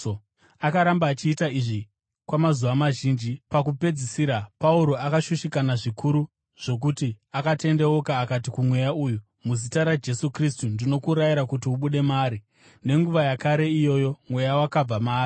Akaramba achiita izvi kwamazuva mazhinji. Pakupedzisira Pauro akashushikana zvikuru zvokuti akatendeuka akati kumweya uyu, “Muzita raJesu Kristu ndinokurayira kuti ubude maari!” Nenguva yakare iyoyo mweya wakabva maari.